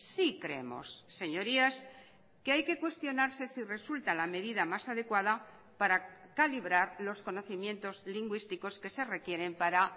sí creemos señorías que hay que cuestionarse si resulta la medida más adecuada para calibrar los conocimientos lingüísticos que se requieren para